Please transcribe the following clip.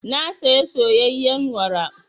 Na saya soyayyen wara.